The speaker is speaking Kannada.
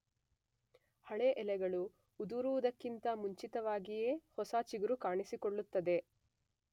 ಹಳೆ ಎಲೆಗಳು ಉದುರುವುದಕ್ಕಿಂತ ಮುಂಚಿತವಾಗಿಯೇ ಹೊಸ ಚಿಗುರು ಕಾಣಿಸಿಕೊಳ್ಳುತ್ತದೆ.